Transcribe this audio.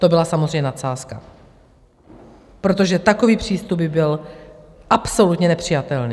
To byla samozřejmě nadsázka, protože takový přístup by byl absolutně nepřijatelný.